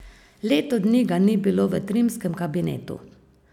Leto dni ga ni bilo v trimskem kabinetu!